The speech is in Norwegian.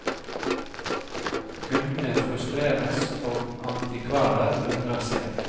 Kundene frustreres, og antikvarer undrer seg.